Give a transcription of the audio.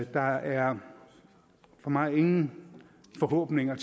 der er for mig ingen forhåbninger